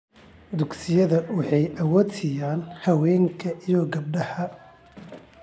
Dugsiyada waxay awood siiyaan haweenka iyo gabdhaha.